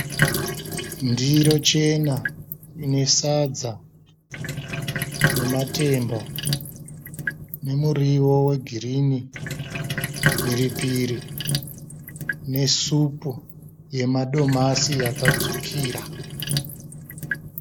Ndiro chena ine sadza nematemba nemuriwo wegirini, mhiripiri nesupu yemadomasi yakatsvukira.